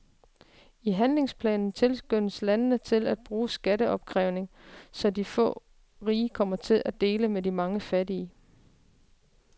I handlingsplanen tilskyndes landene til at bruge skatteopkrævning, så de få rige kommer til at dele med de mange fattige.